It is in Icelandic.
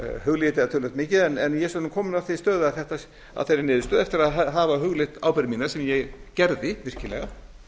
ég það töluvert mikið en ég er kominn að þeirri niðurstöðu eftir að hafa hugleitt ábyrgð mína sem ég gerði virkilega